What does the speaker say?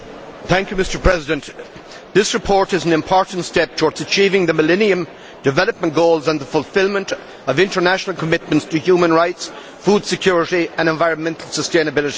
Mr President, this report is an important step towards achieving the Millennium Development Goals and the fulfilment of international commitments to human rights, food security and environmental sustainability.